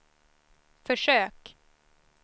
försök